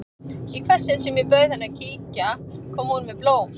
Í hvert sinn sem ég bauð henni að kíkja kom hún með blóm.